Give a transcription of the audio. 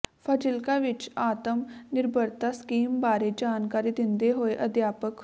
ਫਾਜ਼ਿਲਕਾ ਵਿਚ ਆਤਮ ਨਿਰਭਰਤਾ ਸਕੀਮ ਬਾਰੇ ਜਾਣਕਾਰੀ ਦਿੰਦੇ ਹੋਏ ਅਧਿਆਪਕ